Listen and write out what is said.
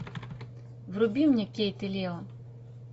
вруби мне кейт и лео